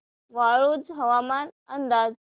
वाळूंज हवामान अंदाज